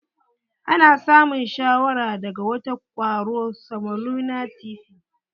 Ana samun shawara daga wata kwaro samolena tyfi.